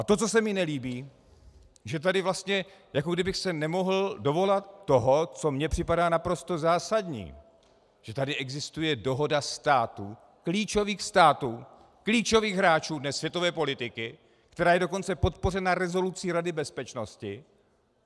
A to, co se mi nelíbí, že tady vlastně, jako kdybych se nemohl dovolat toho, co mně připadá naprosto zásadní, že tady existuje dohoda států, klíčových států, klíčových hráčů dnes světové politiky, která je dokonce podpořena rezolucí Rady bezpečnosti.